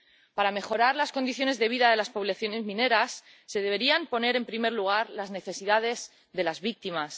Para mejorar las condiciones de vida de las poblaciones mineras, se deberían poner en primer lugar las necesidades de las víctimas.